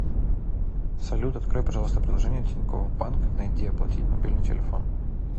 салют открой пожалуйста приложение тинькофф банк найди оплатить мобильный телефон